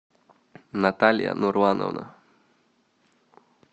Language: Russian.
наталья нурлановна